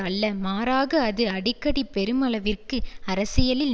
அல்ல மாறாக அது அடிக்கடி பெருமளவிற்கு அரசியலில்